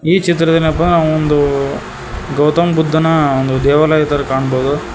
ಈ ಚಿತ್ರದಲ್ಲಿ ಏನಪಾ ಒಂದು ಗೌತಮ ಬುದ್ದನ ಒಂದು ದೇವಾಲಯ ತರ ಕಣ್ಬೋದು.